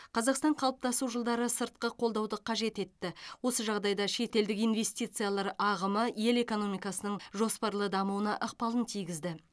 қазақстан қалыптасу жылдары сыртқы қолдауды қажет етті осы жағдайда шетелдік инвестициялар ағымы ел экономикасының жоспарлы дамуына ықпалын тигізді